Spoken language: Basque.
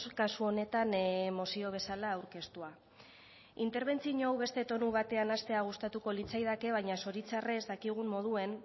kasu honetan mozio bezala aurkeztua interbentzio hau beste tonu batean hastea gustatuko litzaidake baina zoritxarrez dakigun moduan